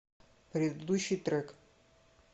предыдущий трек